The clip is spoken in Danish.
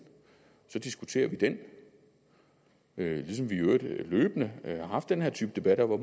og så diskuterer vi den ligesom vi i øvrigt løbende har haft den her type debatter